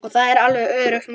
Það er alveg öruggt mál.